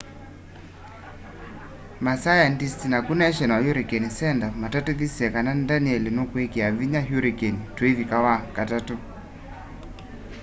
masayandisti naku national hurricane center matatithisye kana danielle nukwikia vinya hurricane tuivika wakatatũ